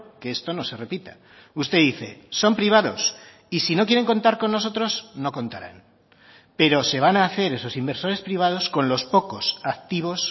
que esto no se repita usted dice son privados y si no quieren contar con nosotros no contarán pero se van a hacer esos inversores privados con los pocos activos